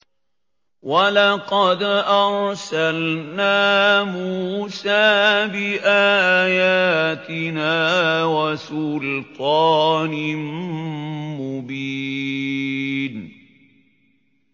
وَلَقَدْ أَرْسَلْنَا مُوسَىٰ بِآيَاتِنَا وَسُلْطَانٍ مُّبِينٍ